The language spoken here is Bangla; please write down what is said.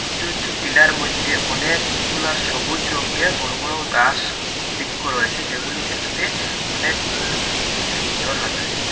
উঁচু উঁচু টিলার মধ্যে অনেকগুলা সবুজ রঙ্গের বড় বড় গাস বিক্য রয়েসে যেগুলি দেখতে অনেক মনো সুন্দর লাগসে।